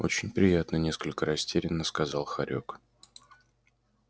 очень приятно несколько растерянно сказал хорёк